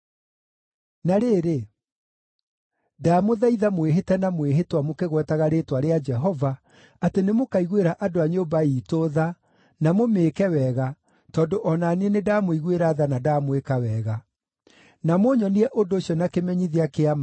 Na rĩrĩ, ndamũthaitha mwĩhĩte na mwĩhĩtwa mũkĩgwetaga rĩĩtwa rĩa Jehova atĩ nĩmũkaiguĩra andũ a nyũmba iitũ tha, na mũmĩĩke wega, tondũ o na niĩ nĩndamũiguĩra tha na ndamwĩka wega. Na mũnyonie ũndũ ũcio na kĩmenyithia kĩa ma